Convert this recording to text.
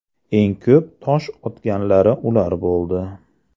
Eng ko‘p tosh otganlari ular bo‘ldi.